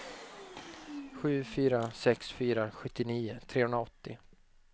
sju fyra sex fyra sjuttionio trehundraåttio